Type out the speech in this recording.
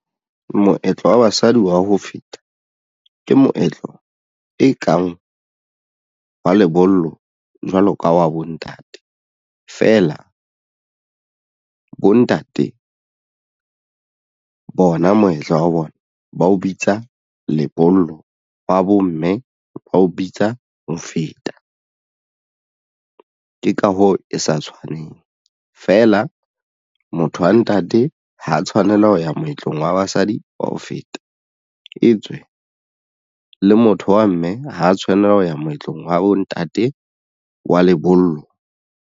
Moetlo wa basadi wa ho feta ke moetlo e kang wa lebollo jwalo ka wa bontate feela bontate bona moetlo wa bona ba o bitsa lebollo ba bomme ba o bitsa ho feta. Ke ka hoo e sa tshwaneng feela motho wa ntate ha tshwanela ho ya moetlong wa basadi wa ho feta e tswe le motho wa mme ha tshwanela ho ya moetlong wa bontate wa lebollo.